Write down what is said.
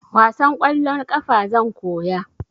Wasan kwallon ƙafa zan koya